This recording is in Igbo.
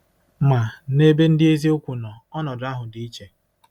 Ma, n’ebe ndị eziokwu nọ, ọnọdụ ahụ dị iche.